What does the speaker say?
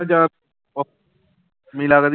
ਜਾਂ